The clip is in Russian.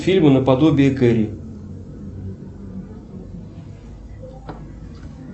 фильмы на подобии керри